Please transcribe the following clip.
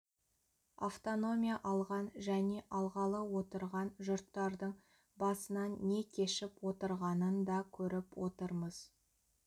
автономия алған және алғалы отырған жұрттардың басынан не кешіп отырғанын да көріп отырмыз